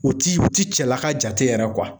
O ti Oti cɛlaka jate yɛrɛ kuwa